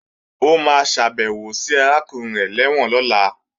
Ó máa ṣàbèwò sí arákùnrin rẹ̀ lẹ́wọ̀n lọ́la